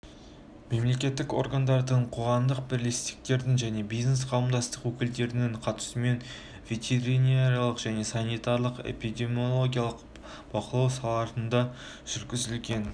мемлекеттік органдардың қоғамдық бірлестіктердің және бизнес қауымдастық өкілдерінің қатысуымен ветеринарлық және санитарлық-эпидемиологиялық бақылау салаларында жүргізілген